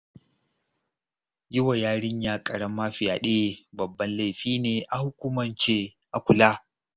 Yi wa yarinya ƙarama fyaɗe babban laifi ne a hukumance, a kula